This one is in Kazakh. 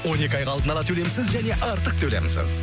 он екі айға алдын ала төлемсіз және артық төлемсіз